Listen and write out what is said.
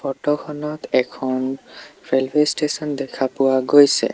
Photo খনত এখন railway station দেখা পোৱা গৈছে।